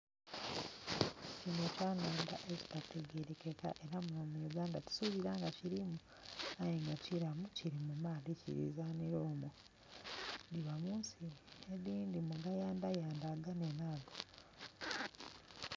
Kino kyanandha ekitategerekeka era muno mu Uganda ti subira nga kirimu aye nga kilamu kili mu maadhi kili zanhila omwo. Biba munsi edindhi mugayandhayandha aganene ago.